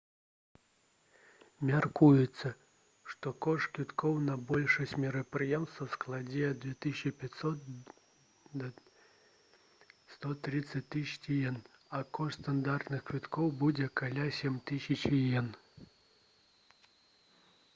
мяркуецца што кошт квіткоў на большасць мерапрыемстваў складзе ад 2500 да 130 000 іен а кошт стандартных квіткоў будзе каля 7000 іен